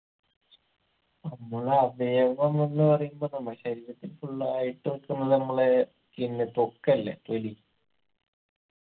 നമ്മളെ അവയവം എന്ന് പറയുമ്പൊ നമ്മളെ ശരീരത്തിൽ full ആയിട്ടൊക്കെള്ള നമ്മളെ skin ത്വക്ക് അല്ലെ തൊലി